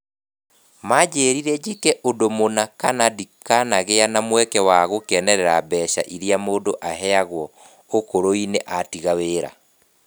Maanjĩrire njĩke ũndũ mũna kana ndikagĩa na mweke wa gũkenerera mbeca irĩa mũndũ ahenyagwo ũkũrũ-inĩ atiga wĩra.